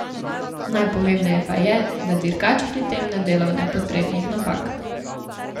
Najpomembneje pa je, da dirkač pri tem ne dela nepotrebnih napak.